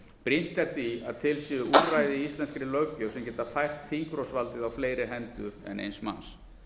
brýnt er því að til séu úrræði í íslenskri löggjöf sem geta fært þingrofsvaldið á fleiri hendur en eins manns